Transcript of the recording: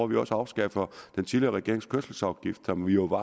vi også afskaffer den tidligere regerings kørselsafgift som jo på